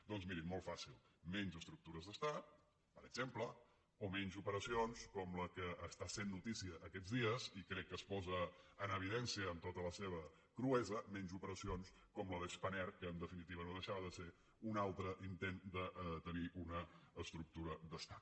doncs mirin molt fàcil menys estructures d’estat per exemple o menys operacions com la que està sent notícia aquests dies i crec que es posa en evidència amb tota la seva cruesa menys operacions com la de spanair que en definitiva no deixava de ser un altre intent de tenir una estructura d’estat